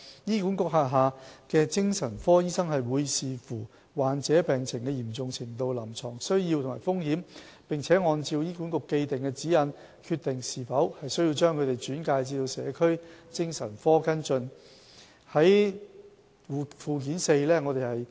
醫管局轄下的精神科醫生會視乎患者病情的嚴重程度、臨床需要和風險，並按照醫管局既定的指引，決定是否需要將他們轉介至社區精神科跟進。